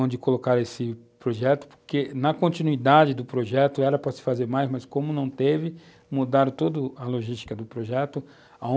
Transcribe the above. onde colocaram esse projeto, porque, na continuidade do projeto, era para se fazer mais, mas, como não teve, mudaram toda a logística do projeto.